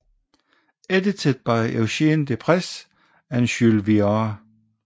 Edited by Eugene Deprez and Jules Viard